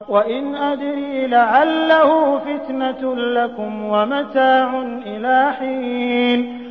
وَإِنْ أَدْرِي لَعَلَّهُ فِتْنَةٌ لَّكُمْ وَمَتَاعٌ إِلَىٰ حِينٍ